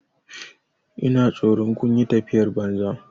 Ina tsoron kun yi tafiyar banza.